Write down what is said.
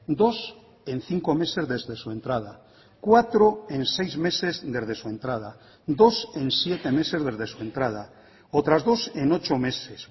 dos en cinco meses desde su entrada cuatro en seis meses desde su entrada dos en siete meses desde su entrada otras dos en ocho meses